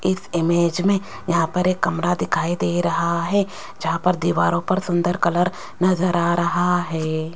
इस इमेज में यहां पर एक कमरा दिखाई दे रहा है जहां पर दीवारों पर सुंदर कलर नजर आ रहा है।